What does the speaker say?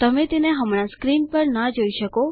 તમે તેને હમણાં સ્ક્રીન પર ના જોઈ શકો